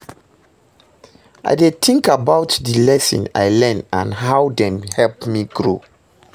i dey think about di lessons i learn and how dem help me grow.